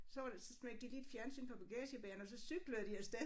Så var det så smækkede de lige et fjernsyn på bagagebæreren og så cyklede de af sted